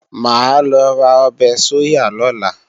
Mà á lọ ra ọbẹ̀ sóyà lọ́la